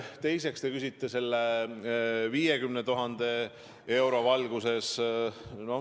Teiseks, te küsite selle 50 000 euro valguses.